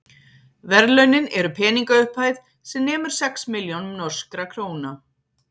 verðlaunin eru peningaupphæð sem nemur sex milljónum norskra króna